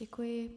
Děkuji.